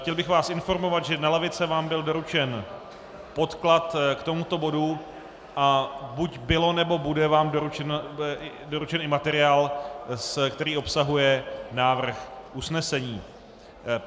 Chtěl bych vás informovat, že na lavice vám byl doručen podklad k tomuto bodu, a buď byl, nebo bude vám doručen i materiál, který obsahuje návrh usnesení.